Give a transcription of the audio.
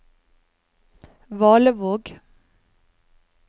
Valevåg